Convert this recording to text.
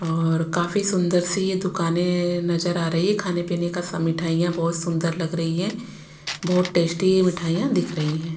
और काफी सुंदर सी ये दुकानें नजर आ रही है खाने-पीने का सब मिठाइयां बहुत सुंदर लग रही है बहुत टेस्टी मिठाइयां दिख रही हैं।